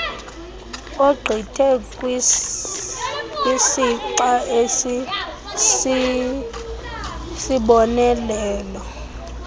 ogqithe kwisixa esisisibonelelo